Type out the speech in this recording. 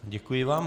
Děkuji vám.